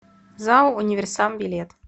зао универсам билет